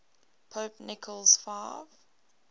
pope nicholas v